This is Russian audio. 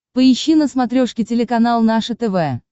поищи на смотрешке телеканал наше тв